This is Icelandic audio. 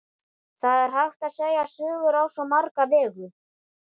Það er hægt að segja sögur á svo marga vegu.